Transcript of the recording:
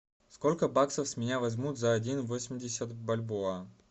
сколько баксов с меня возьмут за один восемьдесят бальбоа